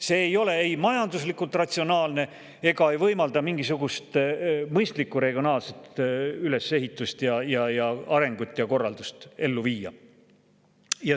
See ei ole ei majanduslikult ratsionaalne ega võimalda mingisugust mõistlikku regionaalset ülesehitust ja arengut ja korraldust ellu viia.